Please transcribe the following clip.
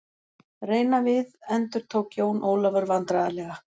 Reyna við endurtók Jón Ólafur vandræðalega.